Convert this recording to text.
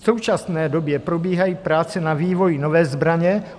V současné době probíhají práce na vývoji nové zbraně.